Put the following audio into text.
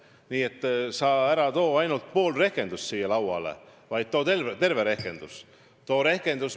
Nii et sa ära too ainult pool rehkendust siia lauale, vaid too terve rehkendus!